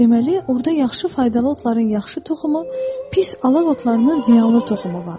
Deməli orda yaxşı faydalı otların yaxşı toxumu, pis alaq otlarının ziyanlı toxumu var.